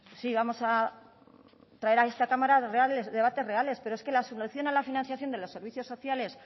sí vamos a traer a esta cámara debates reales pero es que la solución a la financiación de los servicios sociales